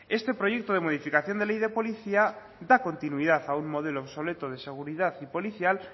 este proyecto de modificación de ley de policía da continuidad a un modelo obsoleto de seguridad y policial